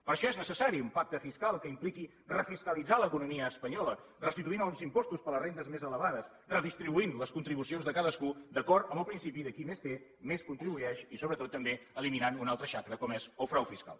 per això és necessari un pacte fiscal que impliqui refiscalitzar l’economia espanyola restituint els impostos per a les rendes més elevades redistribuint les contribucions de cadascú d’acord amb el principi de qui més té més contribueix i sobretot també eliminant una altra xacra com és el frau fiscal